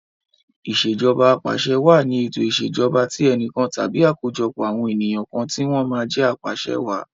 Ìṣèjọba Apàṣẹwàá ni ètò ìṣèjọba tí enìkan tàbí àkójọpọ̀ àwọn ènìyàn kan tí wọ́n máa jẹ apàṣe wàá.